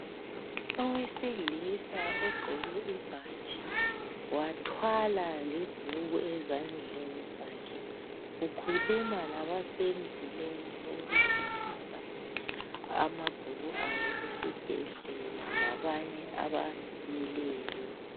Owesilisa ogqoke ibhatshi wathwala lebhuku ezandleni zakhe ukhuluma labase mzileni wokudindisa amabhuku abo esibhedlela labanye abamileyo.